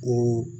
Ko